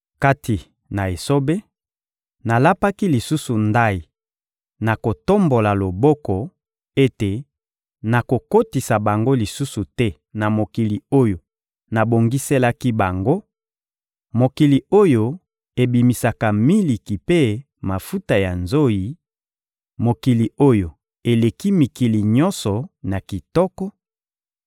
Kati na esobe, nalapaki lisusu ndayi, na kotombola loboko, ete nakokotisa bango lisusu te na mokili oyo nabongiselaki bango, mokili oyo ebimisaka miliki mpe mafuta ya nzoyi, mokili oyo eleki mikili nyonso na kitoko;